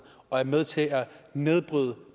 og er med til at nedbryde